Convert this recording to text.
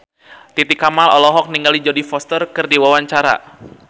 Titi Kamal olohok ningali Jodie Foster keur diwawancara